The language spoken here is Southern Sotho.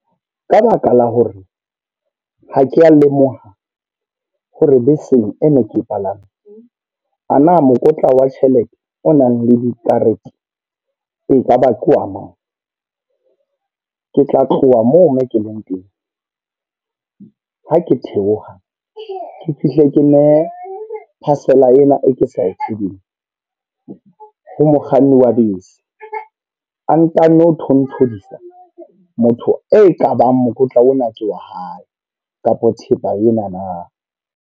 Ka baka la hore ha ke lemoha hore beseng e ne ke palame, a na mokotla wa tjhelete o nang le dikarete, ekaba ke wa mang. Ke tla tloha moo mo ke leng teng. Ha ke theoha ke fihle ke ne parcel a ena e ke sa e tsebeng ha mokganni wa bese. A nkanno thonthodisa motho e kabang mokotla ona tse wa hae, kapa thepa ena na.